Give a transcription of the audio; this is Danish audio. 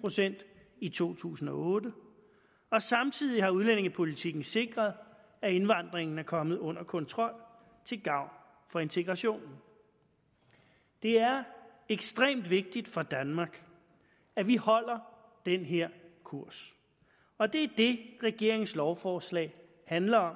procent i to tusind og otte og samtidig har udlændingepolitikken sikret at indvandringen er kommet under kontrol til gavn for integrationen det er ekstremt vigtigt for danmark at vi holder den her kurs og det er det regeringens lovforslag handler om